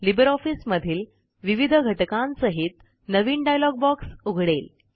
Libre ऑफिसमधील विविध घटकांसहित नवीन डायलॉग बॉक्स उघडेल